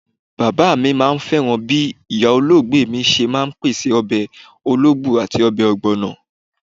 Bàbá mi máà ń fẹ́ràn bí ìyá olóògbé mi ṣe ń pèsè ọbẹ̀ ológbo àti ọbẹ̀ ogbono.